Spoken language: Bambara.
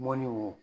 Mɔni wo